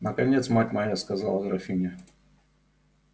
наконец мать моя сказала графиня